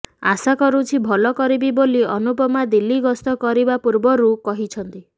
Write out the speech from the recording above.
ଆଶାକରୁଛି ଭଲ କରିବି ବୋଲି ଅନୁପମା ଦିଲ୍ଲୀ ଗସ୍ତ କରିବା ପୂର୍ବରୁ କହିଛନ୍ତି